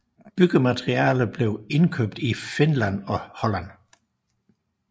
Byggematerialer blev indkøbt i Finland og Holland